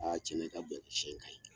cɛn na i ka bon sɛ in ka ɲi.